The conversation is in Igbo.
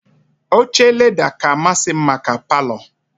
Oche leda ka amasị m maka Palọ